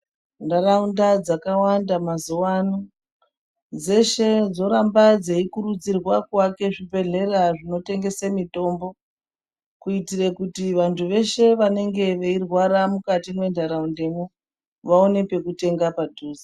Ntaraunda dzakawanda mazuwa ano dzeshe dzoramba dzeikurudzirwa kuvaka zvibhedhlera zvekutengesa mitombo . Kuitira kuti vantu veshe vanenge veirwara mukati mentaraundamo vaone pekutenga padhuze.